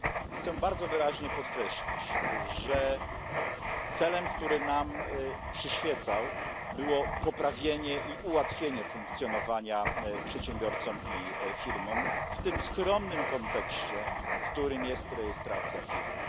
Chcę bardzo wyraźnie podkreślić, że celem, który nam przyświecał, było poprawienie i ułatwienie funkcjonowania przedsiębiorcom i firmom w skromnym kontekście, jakim jest rejestracja firmy.